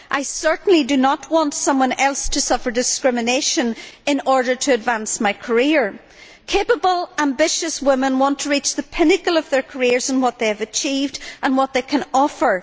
I certainly do not want someone else to suffer discrimination in order to advance my career. Capable, ambitious women want to reach the pinnacle of their careers on what they have achieved and what they can offer.